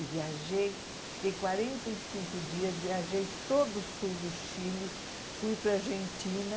E viajei, fiquei quarenta e cinco dias, viajei todo o sul do Chile, fui para a Argentina.